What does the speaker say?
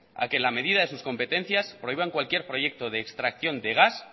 a que la medida de sus competencias prohíban cualquier proyecto de extracción de gas